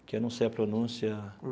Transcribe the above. porque eu não sei a pronúncia.